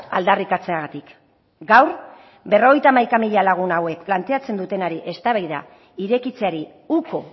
aldarrikatzeagatik gaur berrogeita hamaika mila lagun hauek planteatzen dutenari eztabaida irekitzeari uko